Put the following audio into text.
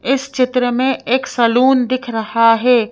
इस चित्र में एक सलून दिख रहा है।